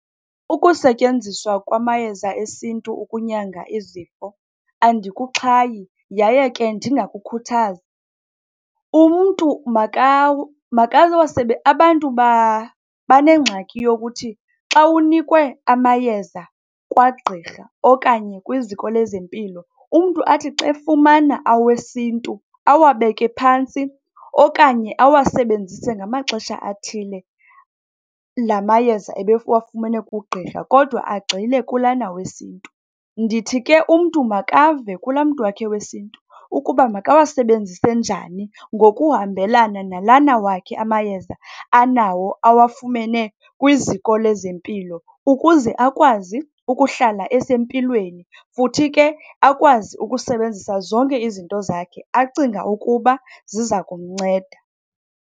Ukusetyenziswa kwamayeza esintu ukunyanga izifo andikuxhayi yaye ke ndingakukhuthazi. Umntu abantu banengxaki yokuthi xa unikwe amayeza kwagqirha okanye kwiziko lezempilo, umntu athi xe fumana awesintu, awabeke phantsi okanye awasebenzise ngamaxesha athile la mayeza ebewafumene kugqirha kodwa agxile kulana wesintu. Ndithi ke umntu makave kulaa mntu wakhe wesintu ukuba makawasebenzise njani ngokuhambelana nalana wakhe amayeza anawo awafumene kwiziko lezempilo ukuze akwazi ukuhlala esempilweni, futhi ke akwazi ukusebenzisa zonke izinto zakhe acinga ukuba ziza kumnceda.